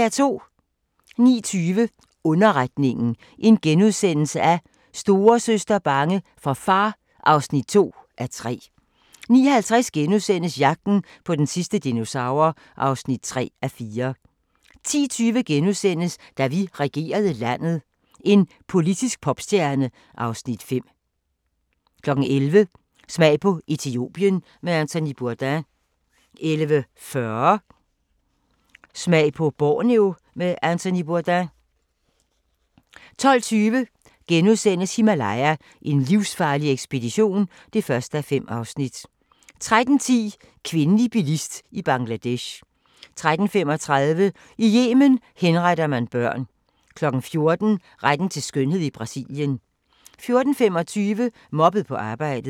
09:20: Underretningen – Storesøster bange for far (2:3)* 09:50: Jagten på den sidste dinosaur (3:4)* 10:20: Da vi regerede landet – en politisk popstjerne (Afs. 5)* 11:00: Smag på Etiopien med Anthony Bourdain 11:40: Smag på Borneo med Anthony Bourdain 12:20: Himalaya: en livsfarlig ekspedition (1:5)* 13:10: Kvindelig bilist i Bangladesh 13:35: I Yemen henretter man børn 14:00: Retten til skønhed i Brasilien 14:25: Mobbet på arbejdet